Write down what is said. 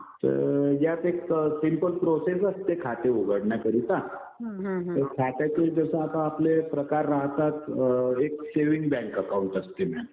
तर यात एक सिंपल प्रोसेस असते, खाते उघडण्याकरिता. तर खात्याचे जसे आता आपले प्रकार राहतात. एक सेविंग बँक अकाउंट असते मॅम.